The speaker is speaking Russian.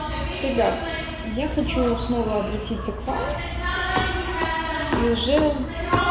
ребят я хочу снова обратиться к вам и уже